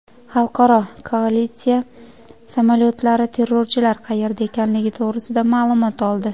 Xalqaro koalitsiya samolyotlari terrorchilar qayerda ekanligi to‘g‘risida ma’lumot oldi.